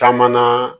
Caman na